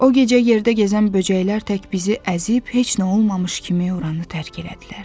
O gecə yerdə gəzən böcəklər tək bizi əzib, heç nə olmamış kimi oranı tərk elədilər.